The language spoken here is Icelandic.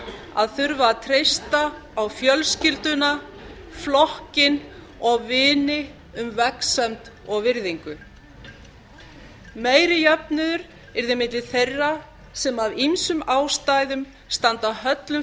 að þurfa að treysta á fjölskylduna flokkinn og vini og um vegsemd og virðingu meiri jöfnuður yrði milli þeirra sem af ýmsum ástæðum standa höllum